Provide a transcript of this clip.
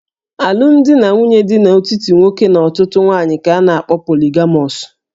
Alụmdi na nwunye dị n'etiti nwoke na ọtụtụ ụmụ nwaanyị ka a na-akpọ poligamọs